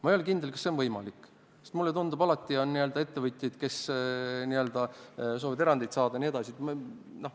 Ma ei ole kindel, et see on võimalik, sest mulle tundub, et alati on ettevõtjaid, kes soovivad erandit saada jne.